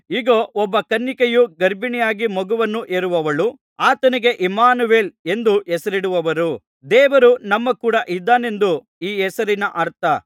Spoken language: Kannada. ಇಗೋ ಒಬ್ಬ ಕನ್ನಿಕೆಯು ಗರ್ಭಿಣಿಯಾಗಿ ಮಗನನ್ನು ಹೆರುವಳು ಆತನಿಗೆ ಇಮ್ಮಾನುವೇಲ್ ಎಂದು ಹೆಸರಿಡುವರು ದೇವರು ನಮ್ಮ ಕೂಡ ಇದ್ದಾನೆಂದು ಈ ಹೆಸರಿನ ಅರ್ಥ